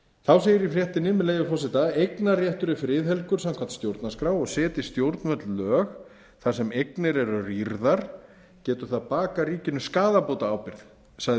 þá segir í fréttinni með leyfi forseta eignarréttur er friðhelgur samkvæmt stjórnarskrá og setji stjórnvöld lög þar sem eignir eru rýrðar geti það bakað ríkinu skaðabótaábyrgð sagði